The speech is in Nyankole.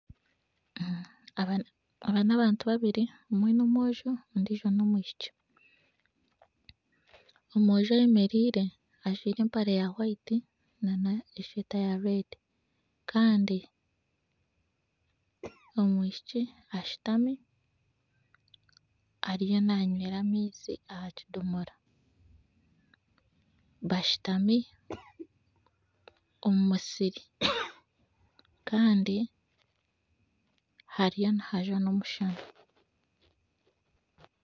Aba nabantu babiri omwe n'omwojo ondiijo n'omwishiki omwojo ayemereire ajwaire empare ya hwayiti nana esweeta ya rwedi Kandi omwishiki ashutami ariyo nanywera amaizi ahakidomora bashutami omu musiri Kandi hariyo nihajwa nomushana